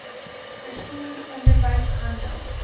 vervoer onderwys handel